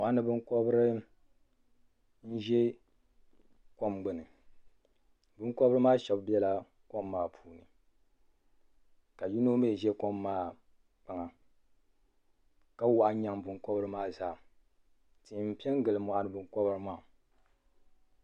Mɔɣuni binkɔbri n ʒe kɔm gbini binkɔbri maa sheba biɛla kɔm maa puuni ni ka yino mi ʒe kɔm maa kpaŋa ka waɣa n nyaŋi binkɔbri maa zaa tihi m pe ngili mɔɣuni binkɔbri.